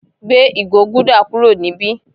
Gbé ìgò gúdà kúrò níbí.